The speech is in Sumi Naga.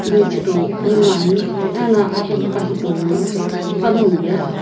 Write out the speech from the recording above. michito konguni ano aghilika lono panagho ye.